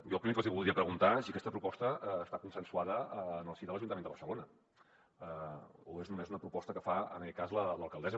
jo el primer que els hi voldria preguntar és si aquesta proposta està consensuada en el si de l’ajuntament de barcelona o és només una proposta que fa en aquest cas l’alcaldessa